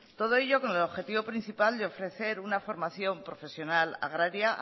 todo ello con el objetivo principal de ofrecer una formación profesional agraria